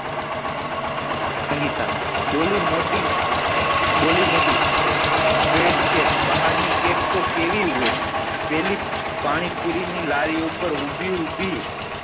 સંગીતા બોલી મોટી બોલી મોટી fresh કેક ભાહર ની કેક તો કેવી હોય પેલી પાણી પૂરી લારી ઉપર ઉભી ઉભી